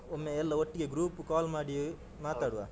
ಒಮ್ಮೆ ಎಲ್ಲ ಒಟ್ಟಿಗೆ group call ಮಾಡಿ ಮಾತಾಡುವ .